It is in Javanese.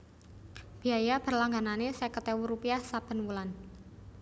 Biaya berlangganané seket ewu rupiah saben wulan